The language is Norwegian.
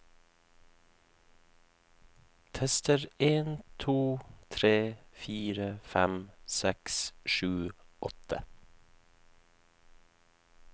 Tester en to tre fire fem seks sju åtte